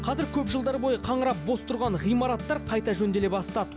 қазір көп жылдар бойы қаңырап бос тұрған ғимараттар қайта жөнделе бастады